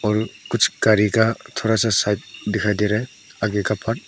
और कुछ गाड़ी का थोड़ा सा साइड दिखाई दे रहा है आगे का पार्ट ।